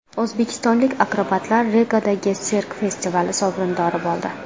O‘zbekistonlik akrobatlar Rigadagi sirk festivali sovrindori bo‘ldi.